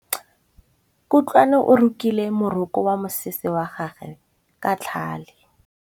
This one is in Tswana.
Kutlwanô o rokile morokô wa mosese wa gagwe ka tlhale.